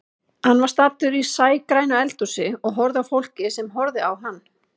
Hann var staddur í sægrænu eldhúsi og horfði á fólkið sem horfði á hann.